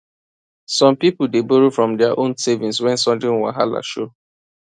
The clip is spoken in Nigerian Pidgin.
some people dey borrow from dia own savings when sudden wahala show